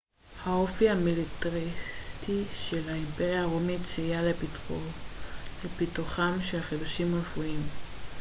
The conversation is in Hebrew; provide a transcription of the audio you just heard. האופי המיליטריסטי של האימפריה הרומית סייע לפיתוחם של חידושים רפואיים